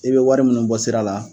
I bɛ wari minnu bɔ sira la